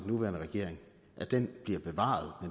nuværende regering blev bevaret